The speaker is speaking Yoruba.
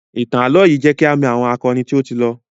Ìtàn ààlọ́ yìí jẹ kí a mọ àwọn akọni tó ti lọ